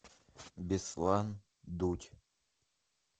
беслан дудь